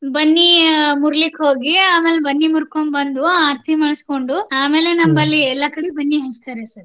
ಬನ್ನಿ ಮುರೀಲಿಕೆ ಹೋಗಿ ಆಮೇಲ್ ಬನ್ನಿ ಮುರ್ಕೊಂಡ್ ಬಂದು ಆರತಿ ಮಾಡ್ಸ್ಕೊಂಡು ಆಮೇಲೆ ನಮ್ಮಲ್ಲಿ ಎಲ್ಲಾ ಕಡೆ ಬನ್ನಿ ಹಂಚ್ತಾರೆ sir .